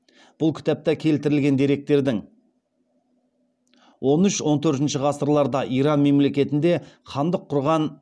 бұл кітапта келтірілген деректердің он үш он төртінші ғасырларда иран мемлекетінде хандық құрған